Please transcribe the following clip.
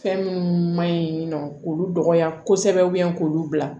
Fɛn minnu man ɲi nɔ k'olu dɔgɔya kosɛbɛ k'olu bila